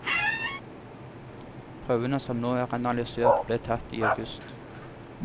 Prøvene som nå er analysert, ble tatt i august.